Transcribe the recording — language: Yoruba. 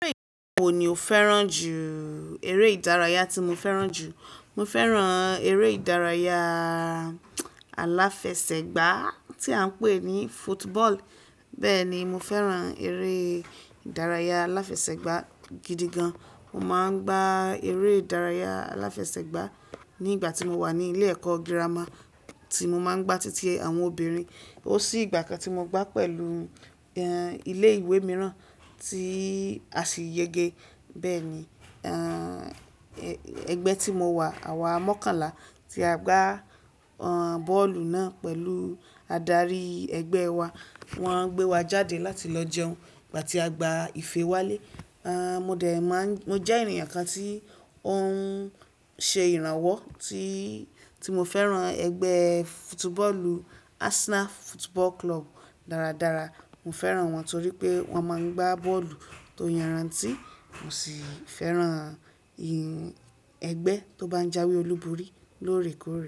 Ere wò ní o fẹ́ràn jù, ère ìdárayá tí mo fẹ́ràn jù. Mo fẹ́ràn ère ìdárayá aláfẹsẹ̀gbá tí à ń pè ní football. Bẹ́ẹ̀ ni, mo fẹ́ràn ère ìdárayá aláfẹsẹ̀gbá gidi gan. Mo máa ń gbá ère ìdárayá aláfẹsẹ̀gbá ní ìgbà tí mo wà ní ilé ẹ̀kọ́ girama tí mo máa ń gbá títí àwọn obìnrin. Ó sí ìgbà kan tí mo gbá pẹ̀lú, ẹ́, ilé ìwé mìíràn tí a sì yege. Bẹ́ẹ̀ ni, ẹgbẹ́ tí mo wà, àwa mọ́kànlá tí a gbá, bọ́ọ̀lù náà pẹ̀lú adarí ẹgbẹ́ wa. Wọ́n gbé wa jáde láti lọ jẹun nígbà tí a gbá ìfe wálé. Mo dẹ̀ máa ń, mo jẹ́ èèyàn kan tí ó ń ṣe ìrànwọ́ tí, tí mo fẹ́ràn ẹgbẹ́ football Arsenal Football Club dáradára. Mo fẹ́ràn wọn torí pé wọ́n máa ń gbá bọ́ọ̀lù tó yanrantí mo sì fẹ́ràn ẹgbẹ́ tó bá ń jáwé olúborí lóòrèkóòrè.